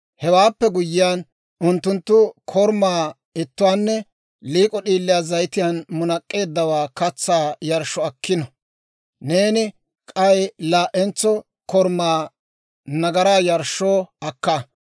Hewaappe guyyiyaan, unttunttu korumaa ittuwaanne liik'o d'iiliyaa zayitiyaan munak'k'eeddawaa katsaa yarshshoo akkino; neeni k'ay laa"entso korumaa nagaraa yarshshoo akka.